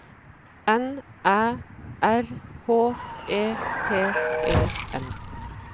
N Æ R H E T E N